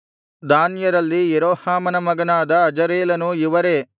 ದಾನ್ಯರಲ್ಲಿ ಯೆರೋಹಾಮನ ಮಗನಾದ ಅಜರೇಲನು ಇವರೇ